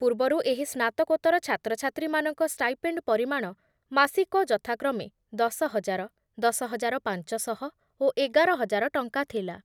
ପୂର୍ବରୁ ଏହି ସ୍ନାତକୋତ୍ତର ଛାତ୍ରଛାତ୍ରୀମାନଙ୍କ ଷ୍ଟାଇପେଣ୍ଡ ପରିମାଣ ମାସିକ ଯଥାକ୍ରମେ ଦଶ ହଜାର, ଦଶ ହଜାର ପାଂଚ ଶହ ଓ ଏଗାର ହଜାର ଟଙ୍କା ଥିଲା ।